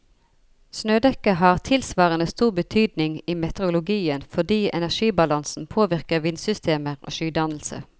Snødekket har tilsvarende stor betydning i meteorologien fordi energibalansen påvirker vindsystemer og skydannelse.